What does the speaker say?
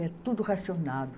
Era tudo racionado.